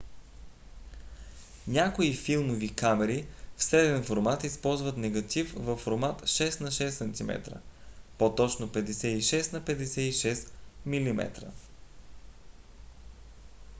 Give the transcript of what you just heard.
някои филмови камери в среден формат използват негатив във формат 6 на 6 cm по - точно 56 на 56 mm